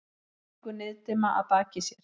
Afríku niðdimma að baki sér.